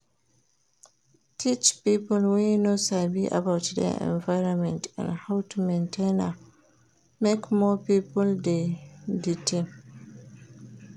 Teach pipo wey no sabi about their environment and how to maintain am make more pipo de di team